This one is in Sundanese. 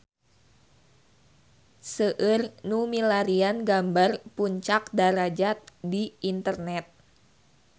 Seueur nu milarian gambar Puncak Darajat di internet